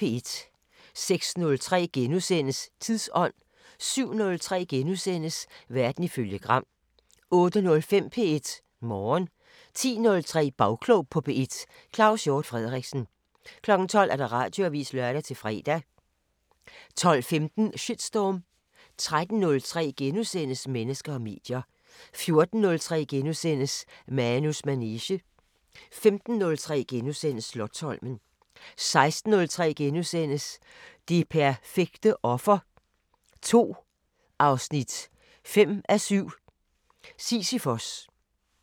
06:03: Tidsånd * 07:03: Verden ifølge Gram * 08:05: P1 Morgen 10:03: Bagklog på P1: Claus Hjort Frederiksen 12:00: Radioavisen (lør-fre) 12:15: Shitstorm 13:03: Mennesker og medier * 14:03: Manus manege * 15:03: Slotsholmen * 16:03: Det perfekte offer 2, 5:7 – Sisyfos *